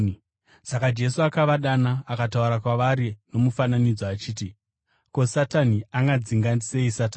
Saka Jesu akavadana akataura kwavari nomufananidzo achiti, “Ko, Satani angadzinga sei Satani?